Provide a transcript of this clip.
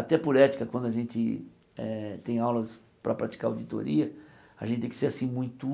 Até por ética, quando a gente eh tem aulas para praticar auditoria, a gente tem que ser muito